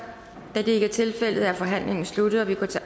da det ikke er tilfældet er forhandlingen sluttet og vi går til